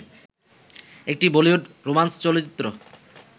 একটি বলিউড রোমান্স চলচ্চিত্র